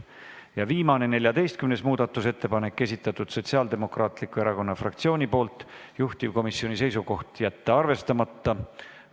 Ja viimane, 14. muudatusettepanek, esitanud Sotsiaaldemokraatliku erakonna fraktsioon, juhtivkomisjoni seisukoht: jätta arvestamata.